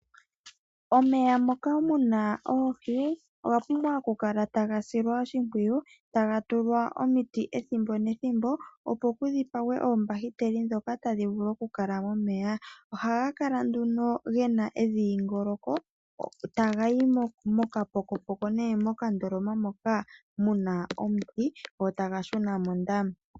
Omeya moka muna oohi oga pumbwa okukala taga silwa oshipwiyu taga tulwa omiti ethimbo nethimbo opo kudhipagwe oombahiteli ndhoka tadhi vulu okukala momeya. Omeya ohaga kala nduno gena edhingoloko taga yi moka pokopoko nenge mokandoloma moka muna omuti go taga shuna mondama.